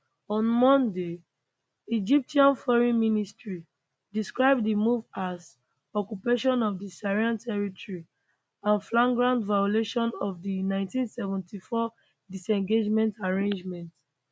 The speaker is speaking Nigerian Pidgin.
on monday egyptian foreign ministry describe di move as occupation of di syrian territory and flagrant violation of di 1974 disengagement agreement